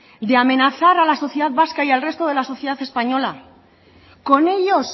de amenazar a la sociedad vasca y al resto de la sociedad española con ellos